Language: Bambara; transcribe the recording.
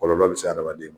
Kɔlɔlɔ bɛ se adamaden ma